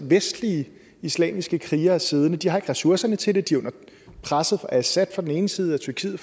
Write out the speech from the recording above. vestlige islamiske krigere siddende det har ikke ressourcerne til det de er presset af assad på den ene side og tyrkiet